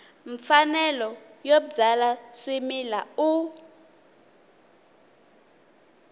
mfanelo yo byala swimila u